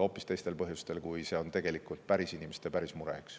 hoopis teistel põhjustel kui päris inimeste päris mured.